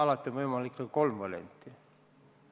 Meil on võimalikud kolm varianti.